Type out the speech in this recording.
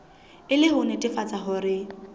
e le ho nnetefatsa hore